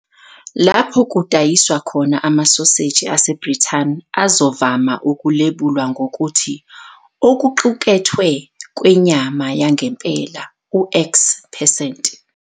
Lapho kudayiswa khona, amasoseji aseBrithani azovame ukulebulwa ngokuthi "okuqukethwe kwenyama yangempela X percent".